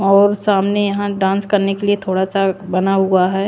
और सामने यहां डांस करने के लिए थोड़ा सा बना हुआ है ।